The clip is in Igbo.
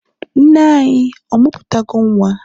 nne-anyi, ọ muputago Nwa?